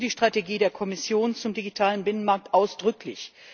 Ich begrüße die Strategie der Kommission zum digitalen Binnenmarkt ausdrücklich.